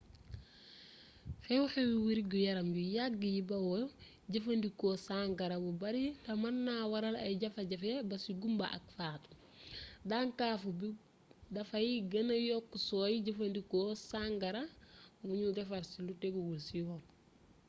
xew-xewi wergu-yaram yu yagg yi bawoo jëfandikoo sangara bu bari te mën naa waral ay jafe-jafe ba ci gumba ak faatu daŋkaafu bi dafay gêna yokk sooy jëfandikoo sangara buñu defar ci lu tegguwul ci yoon